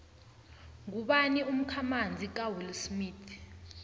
ngubani umkhamanzi kawillsmith